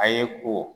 A ye ko